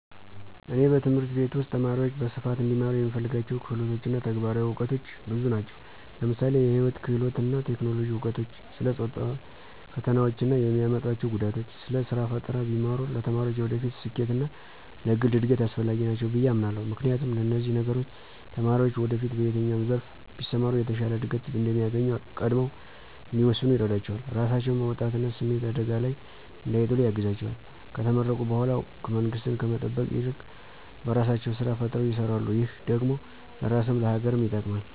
እኔ በትምህርት ቤት ውስጥ ተማሪዎች በስፋት እንዲማሩ የምፈልጋቸው ክህሎቶች እና ተግባራዊ እውቀቶች ብዙ ናቸው። ለምሳሌ የህይወት ክህሎቶች እና የቴክኖሎጂ እውቀቶች፣ ስለ ጾታዊ ፈተናዎች እና የሚያመጡአቸው ጉዳቶች፣ ስለ ስራ ፈጠራ ቢማሩ ለተማሪዎች የወደፊት ስኬት እና ለግል እድገት አስፈላጊ ናቸው ብየ አምናለሁ። ምክንያቱም፣ እነዚህ ነገሮች ተማሪዎችን ወደፊት በየትኛው ዘርፍ ቢሰማሩ የተሻለ እድገት እንደሚያገኙ ቀድመው እንዲወስኑ ይረዳቸዋል፣ ራሳቸውን በወጣትነት ስሜት አደጋ ላይ እንዳይጥሉ ያግዛቸዋል፣ ከተመረቁ በኃላ መንግስትን ከመጠበቅ ይልቅ በራሳቸው ስራ ፈጥረው ይሰራሉ ,ይህ ደግሞ ለራስም ለሀገርም ይጠቅማል።